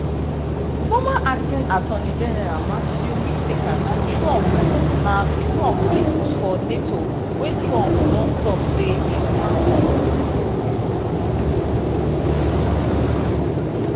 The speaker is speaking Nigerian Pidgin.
former acting attorney general matthew whitaker na trump na trump pick for nato wey trump don tok say im wan comot bifor